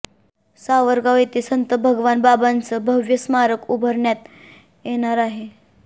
सावरगाव येथे संत भगवान बाबांचं भव्य स्मारक उभारण्यात येणार आहे